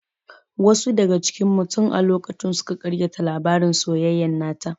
Wasu daga cikin mu tin a lokacin suka ƙaryata labarin soyayyan nata